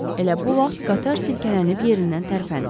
Elə bu vaxt qatar silkələnib yerindən tərpəndi.